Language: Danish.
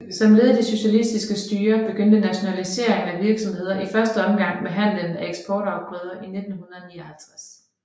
Som led i det socialistiske styre begyndte nationaliseringen af virksomheder i første omgang med handlen med eksportafgrøder i 1959